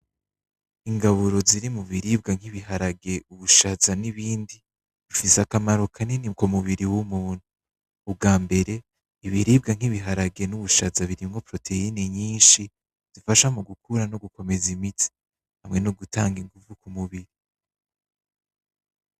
Ingaburo ziri mu biribwa nk'ibiharage, ubushaza n'ibindi bifise akamaro kanini ku mubiri w'umuntu ubwambere, ibiribwa nkibibiharage n'ubushaza birimwo poroteyine nyinshi zifasha mu gukura no gukomeza imitsi hamwe no gutanga inguvu ku mubiri.